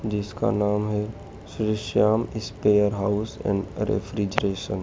जिसका नाम है Shri Shyam spare house and refrigeration --